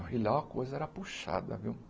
E lá a coisa era puxada, viu?